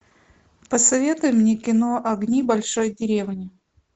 посоветуй мне кино огни большой деревни